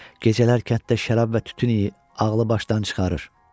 Gecələr kənddə şərab və tütün iyi ağlı-başdan çıxarır.